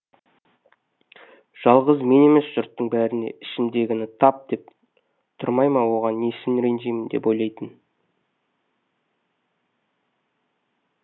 жалғыз мен емес жұрттың бәріне ішімдегіні тап деп тұрмай ма оған несін ренжимін деп ойлайтын